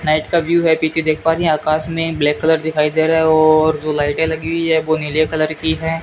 Night का view है पीछे देख पा रही हैं आकाश में ब्लैक कलर दिखाई दे रहा है और जो लाइटें लगी हुई है वो नीले कलर की हैं।